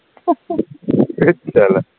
হেৎ